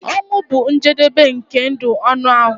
Ọnwụ bụ njedebe nke ndụ anụ ahụ.